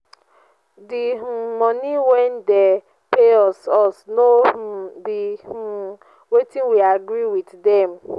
the um money wey dey pay us us no um be um wetin we agree with dem